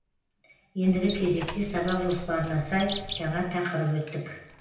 ендігі кезекте сабақ жоспарына сай жаңа тақырып өттік